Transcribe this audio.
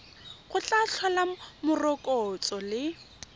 go tla tlhola morokotso le